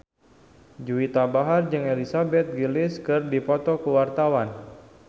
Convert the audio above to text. Juwita Bahar jeung Elizabeth Gillies keur dipoto ku wartawan